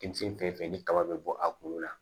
Denmisɛn fɛn fɛn ni kaba bɛ bɔ a kun na